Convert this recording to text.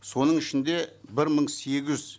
соның ішінде бір мың сегіз